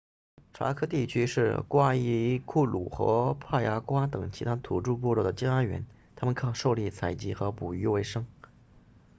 查科 chaco 地区是瓜伊库鲁 guaycuru 和帕亚瓜 payagua 等其他土著部落的家园他们靠狩猎采集和捕鱼为生